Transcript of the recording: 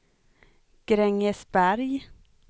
Grängesberg